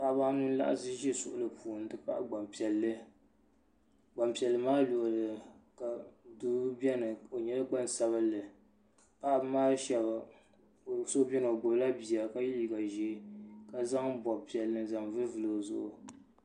Paɣaba anu n laɣasi za suɣuli puuni n ti pahi gbampiɛlli gbampiɛlli maa luɣili ni doo biɛni o nyɛla gbansabili paɣaba maa sheba so biɛni o gbibila bia ka ye liiga ʒee ka zaŋ binpiɛlli n zaŋ vili vili o zuɣu.